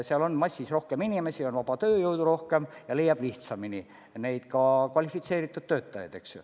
Seal on rohkem inimesi, on vaba tööjõudu rohkem ja leiab lihtsamini ka kvalifitseeritud töötajaid, eks ju.